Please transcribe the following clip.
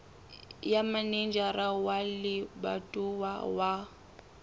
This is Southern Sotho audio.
ya manejara wa lebatowa wa